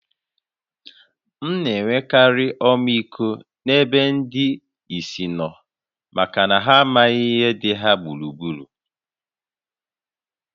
M na-enwekarị ọmịiko n’ebe ndị ìsì nọ maka na ha amaghị ihe dị ha gburugburu